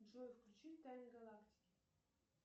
джой включи тайны галактики